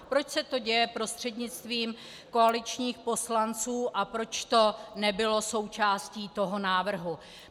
Proč se to děje prostřednictvím koaličních poslanců a proč to nebylo součástí toho návrhu.